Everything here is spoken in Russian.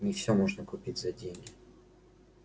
не все можно купить за деньги